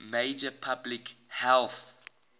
major public health